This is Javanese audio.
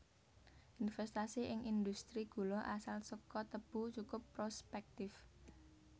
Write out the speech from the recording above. Investasi ing industri gula asal saka tebu cukup prospèktif